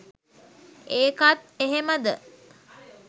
ඒකත් එහෙමද